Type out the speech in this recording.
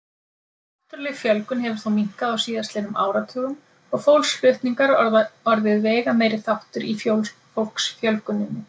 Náttúrleg fjölgun hefur þó minnkað á síðastliðnum áratugum og fólksflutningar orðið veigameiri þáttur í fólksfjölguninni.